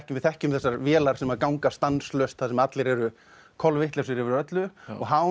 við þekkjum þessar vélar sem ganga stanslaust þar sem allir eru kolvitlausir yfir öllu og